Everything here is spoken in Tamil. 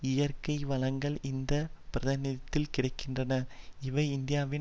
இயற்கை வளங்கள் இந்த பிராந்தியத்தில் கிடை கின்றன இவை இந்தியாவின்